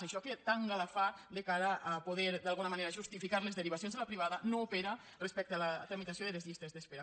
això que tanta gala fa de cara a poder d’alguna manera justificar les derivacions de la privada no opera respecte a la tramitació de les llistes d’espera